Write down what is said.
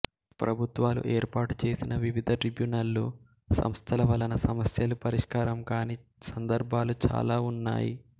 ప్రభుత్వాలు ఏర్పాటు చేసిన వివిధ ట్రిబ్యునళ్ళు సంస్థల వలన సమస్యలు పరిష్కారం కాని సందర్భాలు చాలా ఉన్నాయి